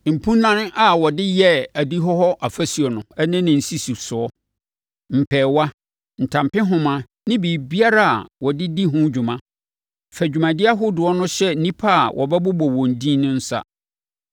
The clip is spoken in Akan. mpunan a wɔde yɛɛ adihɔ hɔ afasuo no ne ne nsisisoɔ, mpɛɛwa, ntampehoma ne biribiara a wɔde di ho dwuma. Fa dwumadie ahodoɔ no hyɛ nnipa a wobɛbobɔ wɔn edin nsa.